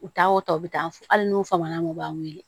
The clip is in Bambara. U taa o ta u bɛ taa fo hali n'u faamana u b'an weele